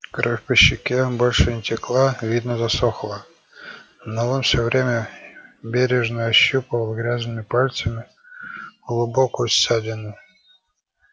кровь по щеке больше не текла видно засохла но он всё время бережно ощупывал грязными пальцами глубокую ссадину